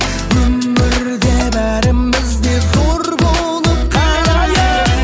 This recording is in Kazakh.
өмірде бәріміз де зор болып қалайық